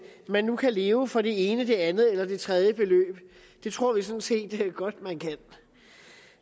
man nu kan leve for det ene det andet eller det tredje beløb det tror vi sådan set godt man kan